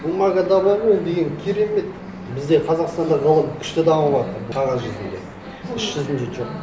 бумагада бар ғой ол деген керемет бізде қазақстанда ғылым күшті дамыватыр қағаз жүзінде іс жүзінде жоқ